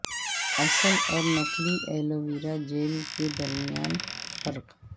اصل اور نقلی ایلو ویرا جیل کے درمیان فرق